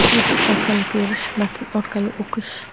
YouTube orqali ko‘rish • Matn orqali o‘qish.